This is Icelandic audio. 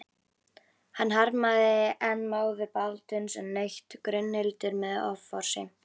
Hann harmaði enn móður Baldvins en naut Gunnhildar með offorsi.